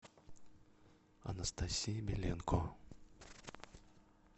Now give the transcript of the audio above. анастасии беленко